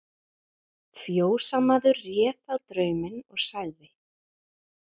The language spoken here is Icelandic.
Fjósamaður réð þá drauminn, og sagði